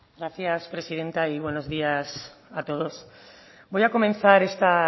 gracias presidenta y buenos días a todos voy a comenzar esta